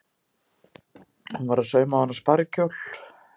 Hún var að sauma á hana sparikjól.